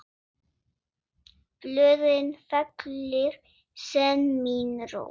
Blöðin fellir senn mín rós.